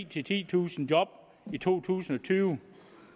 titusind job i to tusind og tyve